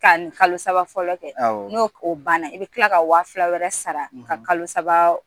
ka kalo saba fɔlɔ kɛ n'o banna i bɛ tila wa fila wɛrɛ sara ka kalo saba